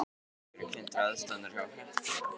Hefurðu kynnt þér aðstæðurnar hjá Hetti?